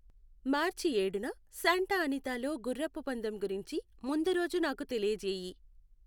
మార్చి ఏడున Santa Anita లో గుర్రపు పందెం గురించి ముందు రోజు నాకు తెలియ జేయి.